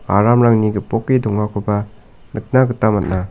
aramrangni gipoke dongakoba nikna gita man·a.